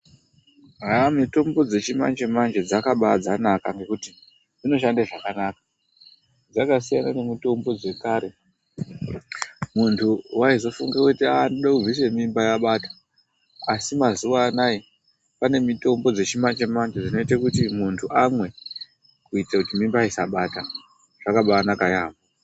Aah mitombo dzechimanje manje dzakaba dzanaka nekuti dzinoshandaa zvakanaka. Dzakasiyana nemitombo dzekare mundu waizofunge kuti ndoda kubvisa mimba yabata..asi mazuvaanayo pane mitombo dzechimanje manje dzinoita kuti muntu amwe kuitira kuti mimba isabata zvakabanaka yaamho.